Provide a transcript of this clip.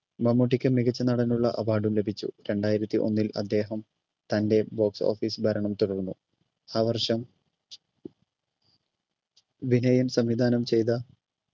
മമ്മൂട്ടിക്ക് മികച്ച നടനുള്ള award ഉം ലഭിച്ചു രണ്ടായിരത്തി ഒന്നിൽ അദ്ദേഹം തൻ്റെ box office ഭരണം തുടർന്നു ആ വർഷം വിനയൻ സംവിധാനം ചെയ്ത